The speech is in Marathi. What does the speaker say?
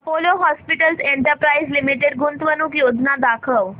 अपोलो हॉस्पिटल्स एंटरप्राइस लिमिटेड गुंतवणूक योजना दाखव